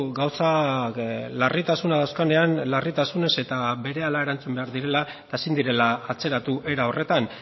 gauza larritasuna azkenean larritasunez eta berehala erantzun behar direla eta ezin direla atzeratu era horretan